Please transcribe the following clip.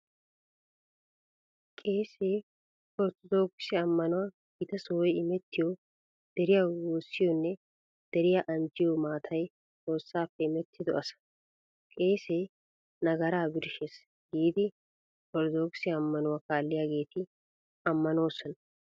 Qeesee orttodokise ammanuwan gita sohoy imettiyo, deriyawu woossiyoonne deriya anjjiyo maatay Xoossaappe imettido asa. "Qeesee nagaraa birshshees" giidi orttodokise ammanuwaa kaalliyaageeti ammannoosona.